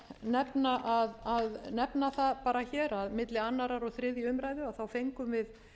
tel rétt að nefna það bara hér að milli annars og þriðju umræðu fengum við